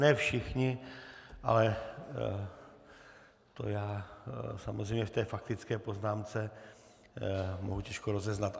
Ne všichni, ale já to samozřejmě v té faktické poznámce mohu těžko rozeznat.